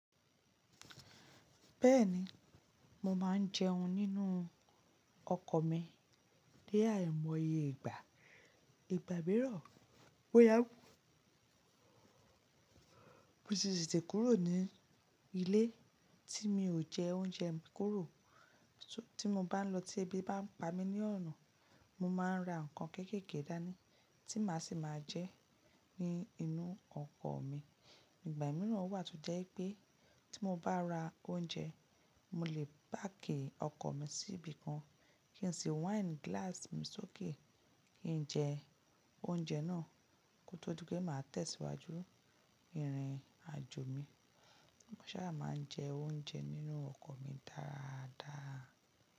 Bẹ́ẹ̀ni, mo máa ń jẹun nínú ọkọ̀ mi ní àìmọye ìgbà. Ìgbà mìíràn, ó yá mo sì tètè kúrò ní ilé tí mi ò jẹ oúnjẹ mi kuró. Tí mo bá ń lọ tí ẹbí bá ń pa mí ní ọ̀nà, mo máa ń ra ǹkan kéékèèké dání tí màá sì máa jẹ ní inú ọkọ̀ mi. Ìgbà mìíràn wa to jẹ́ pé tí mo bá ra oúnjẹ, mo lè páàkì ọkọ̀ mi sí ibi kan kí n sì wine glass mi sókè kí n jẹ oúnjẹ náà kó tó di pé màá tẹ̀síwájú ìrìn àjò mi. Mo sá máa ń jẹ oúnjẹ nínú ọkọ̀ mi dáadáa.